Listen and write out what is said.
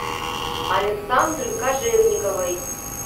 александры кожевниковой